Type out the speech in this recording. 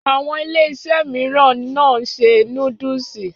Àwọn Iléeṣẹ́ mìíràn náà ṣe núdúsì